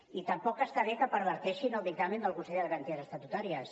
i tampoc està bé que perverteixin el dictamen del consell de garanties estatutàries